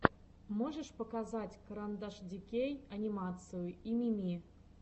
можешь показать карандашдикей анимацию и мими